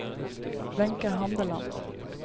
Wenche Handeland